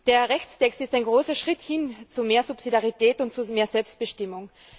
Der Rechtstext ist ein großer Schritt hin zu mehr Subsidiarität und zu mehr Selbstbestimmung.